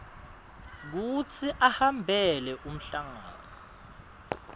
kutsi ahambele umhlangano